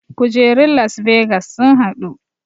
Kujerun las vegas sun haɗu